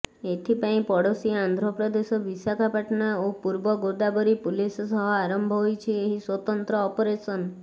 ଏଥିପାଇଁ ପଡୋଶୀ ଆନ୍ଧ୍ରପ୍ରଦେଶ ବିଶାଖାପାଟଣା ଓ ପୂର୍ବ ଗୋଦାବରୀ ପୁଲିସ ସହ ଆରମ୍ଭ ହୋଇଛି ଏହି ସ୍ୱତନ୍ତ୍ର ଅପରେସନ୍